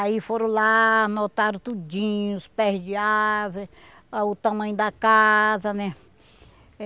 Aí foram lá, anotaram tudinho, os pés de árvore, o tamanho da casa, né?